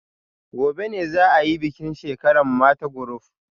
Gobe ​​ne za a yi bikin shekara mata group